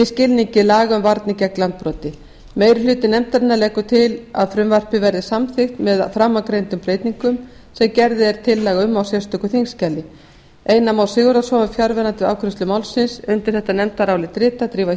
skilningi laga um varnir gegn landbroti meiri hluti nefndarinnar leggur til að frumvarpið verði samþykkt með framangreindum breytingum sem gerð er tillaga um í sérstöku þingskjali einar már sigurðarson var fjarverandi við afgreiðslu málsins undir þetta nefndarálit rita drífa